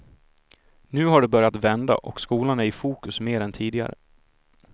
Nu har det börjat vända, och skolan är i fokus mer än tidigare.